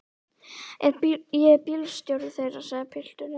Ég er bílstjóri þeirra, sagði pilturinn.